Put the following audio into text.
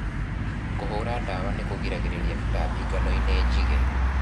Kũhũra dawa nĩkũgiragĩrĩria tũtambi nganoinĩ njige.